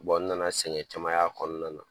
Bɔn n nana sɛgɛn caman kɔnɔna na.